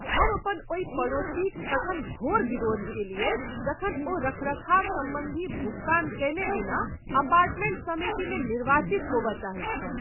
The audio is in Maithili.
हम अपन ओहि पड़ोसीक तखन घोर विरोध कएलियैक जखन ओ रखरखाव सम्बन्धी भुगतान कयने बिना अपार्टमेंट समितिमे निर्वाचित होबय चाहैत छल।